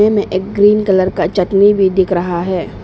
में एक green colour का चटनी भी दिख रहा है।